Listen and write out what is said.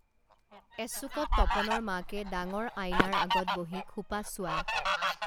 এচুকত তপনৰ মাকে ডাঙৰ আয়নাৰ আগত বহি খোপা চোৱা